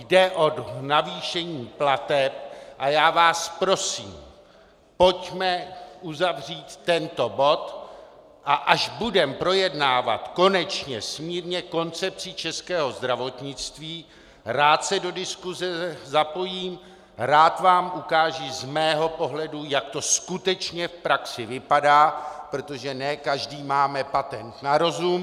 Jde o navýšení plateb a já vás prosím, pojďme uzavřít tento bod, a až budeme projednávat konečně smírně koncepci českého zdravotnictví, rád se do diskuse zapojím, rád vám ukážu z mého pohledu, jak to skutečně v praxi vypadá, protože ne každý máme patent na rozum.